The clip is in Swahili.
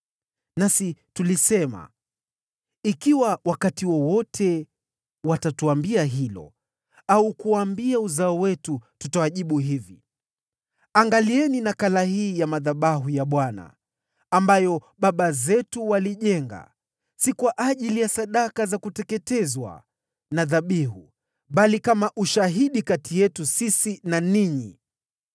“Nasi tulisema, ‘Ikiwa wakati wowote watatuambia hilo, au kuwaambia uzao wetu, tutawajibu hivi: Angalieni nakala hii ya madhabahu ya Bwana , ambayo baba zetu waliijenga, si kwa ajili ya sadaka za kuteketezwa na dhabihu, bali kama ushahidi kati yetu na ninyi.’